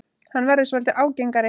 Hann verður svolítið ágengari.